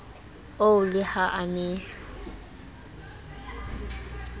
oo le ha a ne